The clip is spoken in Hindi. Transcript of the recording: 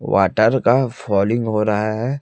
वाटर का फॉलिंग हो रहा है।